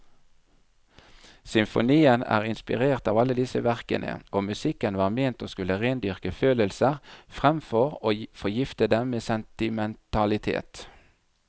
Symfonien er inspirert av alle disse verkene, og musikken var ment å skulle rendyrke følelser framfor å forgifte dem med sentimentalitet.